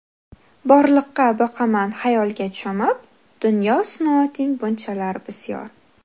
Borliqqa boqaman xayolga cho‘mib, Dunyo, sinoating bunchalar bisyor?...